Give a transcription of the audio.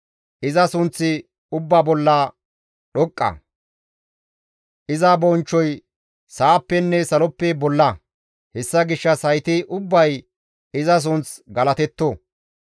Iza sunththi ubbaa bolla dhoqqa; iza bonchchoy sa7appenne saloppe bolla; hessa gishshas hayti ubbay iza sunth galatetto.